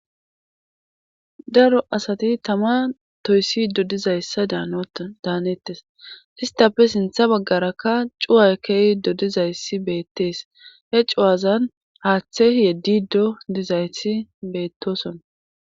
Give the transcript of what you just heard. Ddaro asati tama toyssi dodizayssa daanettes istape sintha baggarakka cuway kehi dodizayssi beettees he cuwazan haaththe yeddido dizayti beettoson